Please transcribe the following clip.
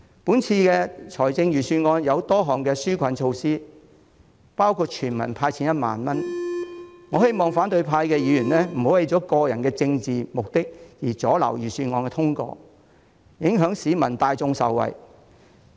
今次的預算案有多項紓困措施，包括全民"派錢 "1 萬元，我希望反對派議員不要為了個人政治目的阻撓預算案通過，影響市民大眾受惠。